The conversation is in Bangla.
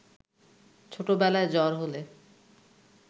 ছোটবেলায় জ্বর হলে